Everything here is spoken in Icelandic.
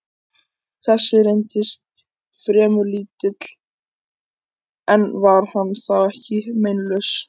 Þessi reyndist fremur lítill, en var hann þá ekki meinlaus?